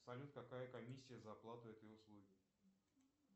салют какая комиссия за оплату этой услуги